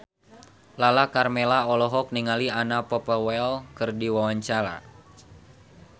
Lala Karmela olohok ningali Anna Popplewell keur diwawancara